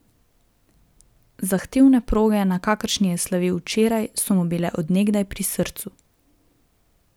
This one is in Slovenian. Zahtevne proge, na kakršni je slavil včeraj, so mu bile od nekdaj pri srcu.